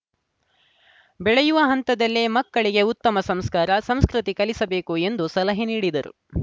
ಬೆಳೆಯುವ ಹಂತದಲ್ಲೇ ಮಕ್ಕಳಿಗೆ ಉತ್ತಮ ಸಂಸ್ಕಾರ ಸಂಸ್ಕೃತಿ ಕಲಿಸಬೇಕು ಎಂದು ಸಲಹೆ ನೀಡಿದರು